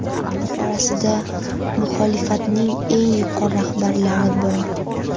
Ular orasida muxolifatning eng yuqori rahbarlari bor.